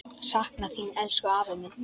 Sakna þín, elsku afi minn.